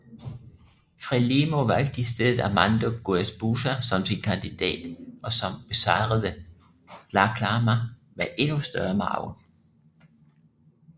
FRELIMO valgte i stedet Armando Guebuza som sin kandidat og som besejrede Dhlakama med endnu større margin